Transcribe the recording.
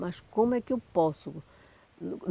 Mas como é que eu posso?